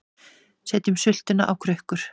Setjum sultuna á krukkur